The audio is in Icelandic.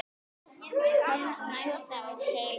Komst næstum heil heim.